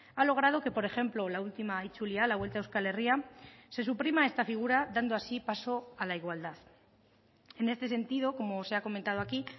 ha logrado que por ejemplo la última itzulia la vuelta a euskal herria se suprima esta figura dando así paso a la igualdad en este sentido como se ha comentado aquí